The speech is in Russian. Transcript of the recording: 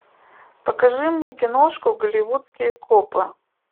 покажи мне киношку голливудские копы